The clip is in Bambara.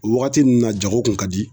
O wagati nun na jago kun ka di.